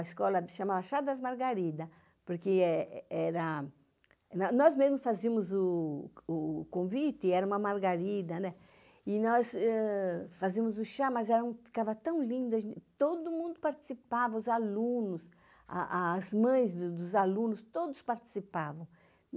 A escola se chamava Chá das Margaridas, porque nós mesmos fazíamos o convite, era uma margarida, e nós fazíamos o chá, mas ficava tão lindo, todo mundo participava, os alunos, as mães dos alunos, todos participavam.